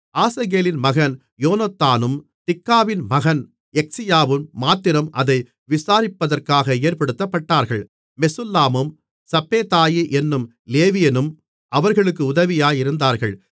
ஆசகேலின் மகன் யோனத்தானும் திக்காவின் மகன் யக்சியாவும் மாத்திரம் அதை விசாரிப்பதற்காக ஏற்படுத்தப்பட்டார்கள் மெசுல்லாமும் சப்பேதாயி என்னும் லேவியனும் அவர்களுக்கு உதவியாயிருந்தார்கள்